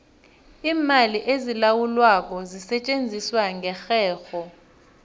iimali ezilawulwako zisetjenziswa ngerherho